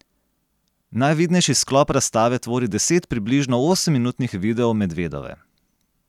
Najvidnejši sklop razstave tvori deset približno osemminutnih videov Medvedove.